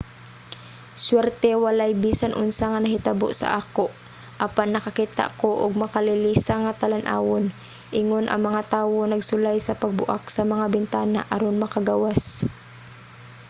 "suwerte walay bisan unsa nga nahitabo sa ako apan nakakita ko og makalilisang nga talan-awon ingon ang mga tawo nagsulay sa pagbuak sa mga bintana aron makagawas.